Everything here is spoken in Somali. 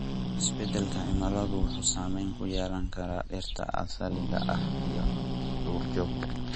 Isbedelka cimiladu wuxuu saameyn ku yeelan karaa dhirta asaliga ah iyo duurjoogta.